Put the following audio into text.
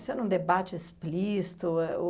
Isso era um debate explícito?